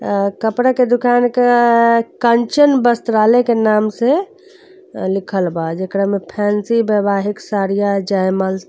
आ कपड़ा के दुकान क कंचन बस्त्रालय के नाम से अ लिखल बा जेकरा में फैंसी वैवाहिक साड़ियाँ जयमल्स --